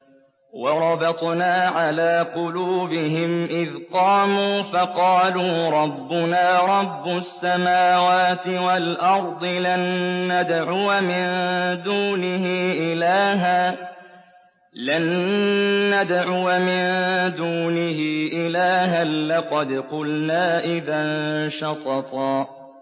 وَرَبَطْنَا عَلَىٰ قُلُوبِهِمْ إِذْ قَامُوا فَقَالُوا رَبُّنَا رَبُّ السَّمَاوَاتِ وَالْأَرْضِ لَن نَّدْعُوَ مِن دُونِهِ إِلَٰهًا ۖ لَّقَدْ قُلْنَا إِذًا شَطَطًا